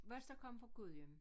Os der kom fra Gudhjem